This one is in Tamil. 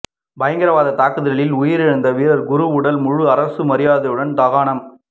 பயங்கரவாத தாக்குதலில் உயிரிழந்த வீரர் குரு உடல் முழு அரசு மரியாதையுடன் தகனம்